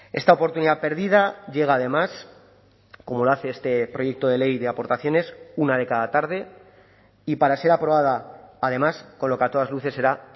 esta oportunidad perdida llega además como lo hace este proyecto de ley de aportaciones una de cada tarde y para ser aprobada además con lo que a todas luces será